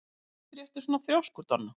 Af hverju ertu svona þrjóskur, Donna?